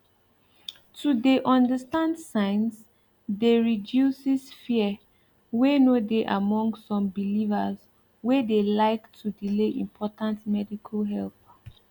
to de understand signs de reduces fear wey no dey among some belivers wey de like to delay important medical help